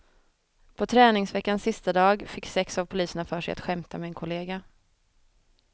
På träningsveckans sista dag fick sex av poliserna för sig att skämta med en kollega.